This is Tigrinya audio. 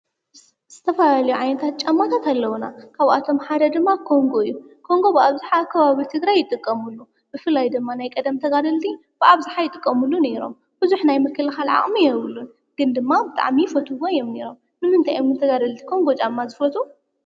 ዝተፈላለዩ ዓይነት ጫማታት አለውና። ካብአቶም ሓደ ድማ ኮንጎ እዩ። ኮንጎ ብአብዝሓ አብ ከባቢ ትግራይ ይጥቀምሉ። ብፍላይ ድማ ናይ ቀደም ተጋደልቲ ብአብዝሓ ይጥቀምሉ ነይሮም። ብዝሕ ናይ ምክልካል ዓቅሚ የብሉን ግን ድማ ብጣዕሚ ይፈትውዎ ነይሮም። ንምንታይ እዮም ግን ተጋደልቲ ኮንጎ ጫማ ዝፈትው?